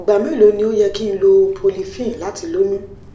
igba melo ni o yẹ ki n lo prolifen lati loyun